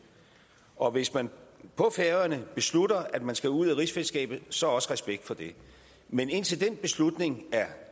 og hvis man på færøerne beslutter at man skal ud af rigsfællesskabet så også respekt for det men indtil den beslutning